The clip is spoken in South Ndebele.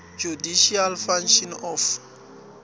judicial functions of